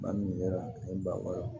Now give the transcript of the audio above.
Ba min kɛra ni bakɔ ye